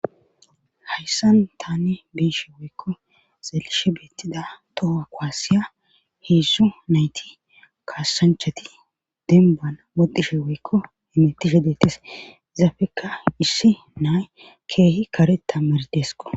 hayssan tani beyishin woykko xelishe beettida toha kuwasiya heedzzo nayti kaassanchati denbana woxishe woykko hemetishe dettis zafeka issi nay keehi kare tammardeesko